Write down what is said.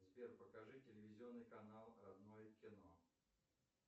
сбер покажи телевизионный канал родное кино